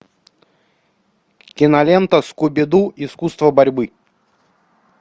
кинолента скуби ду искусство борьбы